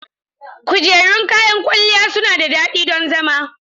Kujerun kayan kwalliya suna da dadi don zama.